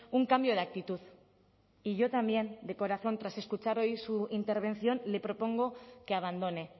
un cambio de actitud y yo también de corazón tras escuchar hoy su intervención le propongo que abandone